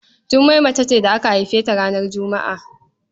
Jummai mace ce da aka haife ta ranar Juma'a.